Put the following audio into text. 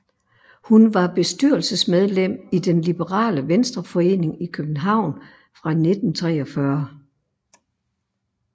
Hun var bestyrelsesmedlem i Den liberale Venstreforening i København fra 1943